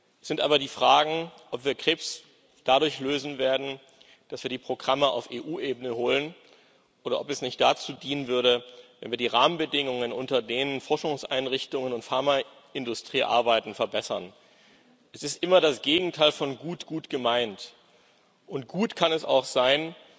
Es sind aber die Fragen, ob wir Krebs dadurch lösen werden, dass wir die Programme auf EU-Ebene holen, oder ob es nicht dazu dienen würde, wenn wir die Rahmenbedingungen, unter denen Forschungseinrichtungen und Pharmaindustrie arbeiten, verbessern. Das Gegenteil von gut ist immer gut gemeint, und gut kann es auch sein,